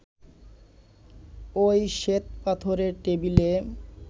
ওই শ্বেতপাথরের টেবিলে